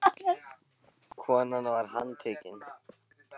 Konan var handtekin